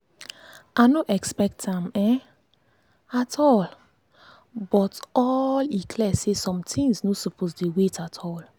i no expect am um at um all but all but e clear say some things no suppose dey wait at all.